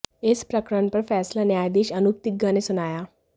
इस प्रकरण पर फैसला न्यायाधीश अनुप तिग्गा ने सुनाया